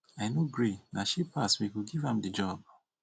i no gree na she pass we go give am the job